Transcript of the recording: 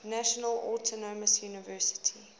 national autonomous university